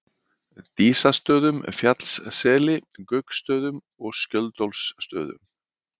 Dísastöðum, Fjallsseli, Gauksstöðum og Skjöldólfsstöðum.